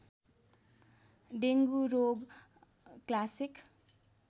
dengue रोग classic